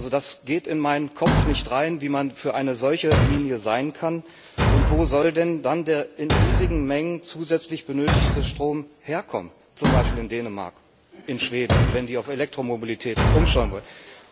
Das geht in meinen Kopf nicht rein, wie man für eine solche Linie sein kann, und wo soll denn dann der in riesigen Mengen zusätzlich benötigte Strom herkommen, zum Beispiel in Dänemark, in Schweden, wenn die auf Elektromobilität umstellen wollen?